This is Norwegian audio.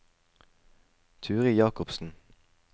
Turid Jacobsen